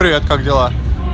привет как дела